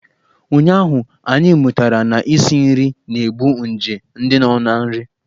Ụnyụahụ, anyị mụtara na isi nri na-egbu nje ndị nọ na nri.